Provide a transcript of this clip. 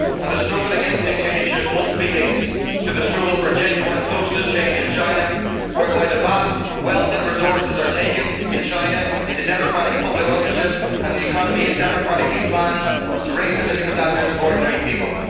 The struggle against dictatorship must be linked to the struggle for genuine socialist change in China, whereby the vast wealth and resources in China are taken into democratic public ownership and the economy is democratically planned to raise the living standards of ordinary people.